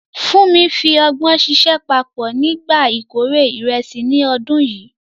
Funmi fi ọgbọ́n ṣiṣẹ́ papọ̀ nígbà ìkórè ìrẹsì ní ọdún yìí.